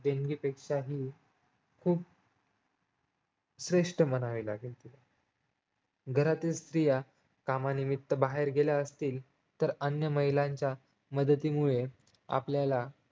देणगी पेक्षाही खूप श्रेष्ठ म्हणावी लागेल घरातील स्त्रिया कामानिमित्त बाहेर गेल्या असतील तर अन्य महिलांच्या मदतीमुळे आपल्याला